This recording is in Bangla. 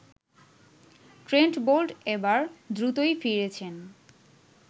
ট্রেন্ট বোল্ট এবার দ্রুতই ফিরেছেন